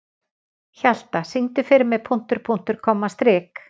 Hjalta, syngdu fyrir mig „Punktur, punktur, komma, strik“.